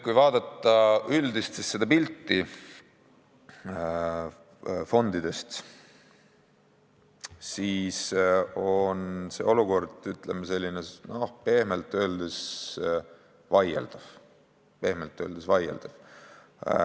Kui vaadata fondide üldist pilti, siis on olukord, ütleme, pehmelt öeldes vaieldav.